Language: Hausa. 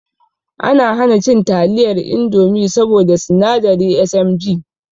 Ana hana cin taliyar indomi saboda sinadari SMG